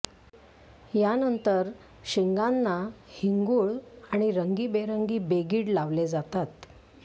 यानंतर शिंगांना हिंगुळ आणि रंगी बेरंगी बेगीड लावले जातात